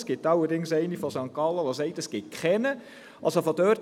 Es gibt allerdings eine aus St. Gallen, die besagt, dass es keinen gibt.